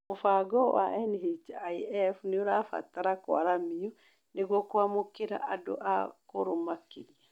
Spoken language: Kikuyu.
Mũbango wa NHIF nĩ ũrabatarania kũaramio nĩguo kũamukĩra andũ akũrũ makĩria.